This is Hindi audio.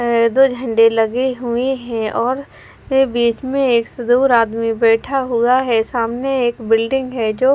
दो झंडे लगे हुए है और बीच में एक से दूर आदमी बैठा हुआ है सामने एक बिल्डिंग है जो--